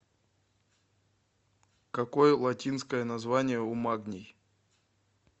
какой латинское название у магний